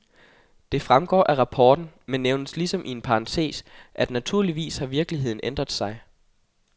Det fremgår af rapporten, men nævnes ligesom i en parentes, at naturligvis har virkeligheden ændret sig.